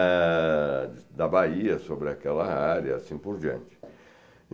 A da Bahia, sobre aquela área, assim por diante.